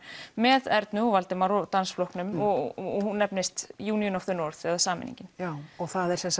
með Ernu Valdimari og dansflokknum og hún nefnist union of the north eða sameiningin já það er